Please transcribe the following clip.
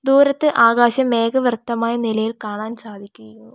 പുറത്ത് ആകാശം മേഘവൃത്തമായ നിലയിൽ കാണാൻ സാധിക്കിയുന്നു.